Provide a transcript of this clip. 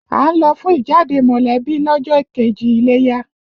À ń lọ fún ìjáde mọ̀lẹ́bí lọ́jọ́ kejì iléyá